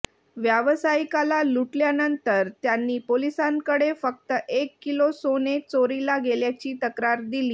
व्यावसायिकाला लुटल्यानंतर त्यांनी पोलिसांकडे फक्त एक किलो सोने चोरीला गेल्याची तक्रार दिली